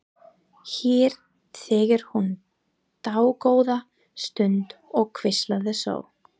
Hér þegir hún dágóða stund og hvíslar svo: